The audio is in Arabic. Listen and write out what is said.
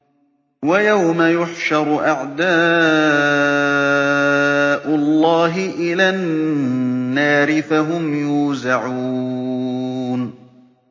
وَيَوْمَ يُحْشَرُ أَعْدَاءُ اللَّهِ إِلَى النَّارِ فَهُمْ يُوزَعُونَ